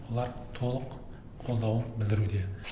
олар толық қолдау білдіруде